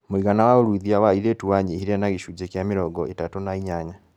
Mũigana wa ũruithia wa airĩtu wanyihire na gĩcunjĩ kĩa mĩrongo itatũ na inyanya